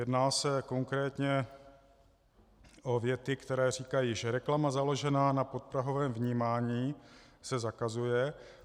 Jedná se konkrétně o věty, které říkají, že reklama založená na podprahovém vnímání se zakazuje.